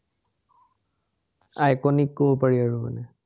iconic কব পাৰি আৰু মানে